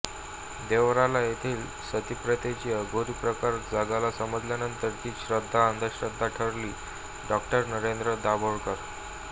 देवराला येथील सतीप्रथेचा अघोरी प्रकार जगाला समजल्यानंतर तीच श्रद्धा अंधश्रद्धा ठरली डॉ नरेंद्र दाभोळकर